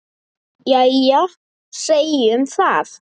Jæja, segjum það.